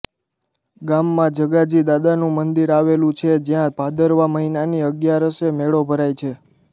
ગામમાં જગાજી દાદાનું મંદીર આવેલુ છે જ્યાં ભાદરવા મહિનાની અગિયારસે મેળો ભરાય છે